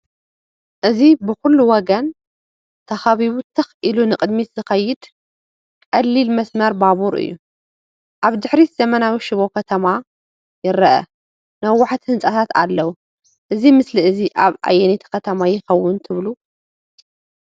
እዚ ብዅሉ ወገን ተኸቢቡ ትኽ ኢሉ ንቕድሚት ዚኸይድ ቀሊል መስመር ባቡር እዩ። ኣብ ድሕሪት ዘመናዊ ሽቦ ከተማ ይርአ፣ ነዋሕቲ ህንጻታት ኣለዉዎ። እዚ ምስሊ እዚ ኣብ ኣየነይቲ ከተማ ይከውን ትብሉ?